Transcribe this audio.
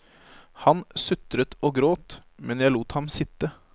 Han sutret og gråt, men jeg lot ham sitte.